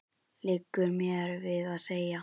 liggur mér við að segja.